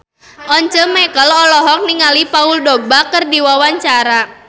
Once Mekel olohok ningali Paul Dogba keur diwawancara